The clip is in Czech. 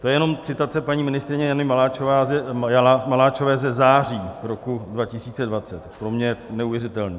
To je jenom citace paní ministryně Jany Maláčové ze září roku 2020, pro mě neuvěřitelný.